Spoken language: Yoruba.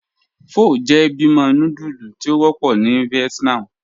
Pho jẹ́ bímo núdúlù tí o wọpọ̀ ni Vietnam.